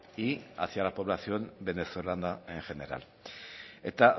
y hacia la población venezolana en general eta